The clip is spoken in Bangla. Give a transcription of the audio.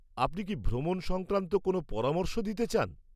আপনি কি ভ্রমণ সংক্রান্ত কোনও পরামর্শ দিতে চান?